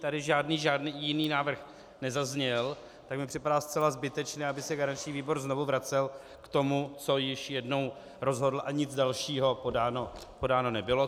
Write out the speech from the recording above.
Tady žádný jiný návrh nezazněl, tak mi připadá zcela zbytečné, aby se garanční výbor znovu vracel k tomu, co již jednou rozhodl, a nic dalšího podáno nebylo.